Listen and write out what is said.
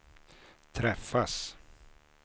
träffas